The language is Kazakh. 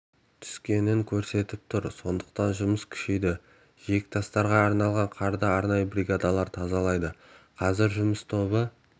түскенін көрсетіп тұр сондықтан жұмыс күшейді жиектастарға жиналған қарды арнайы бригада тазалайды қазір жұмыс тобы